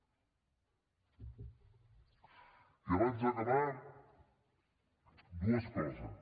i abans d’acabar dues coses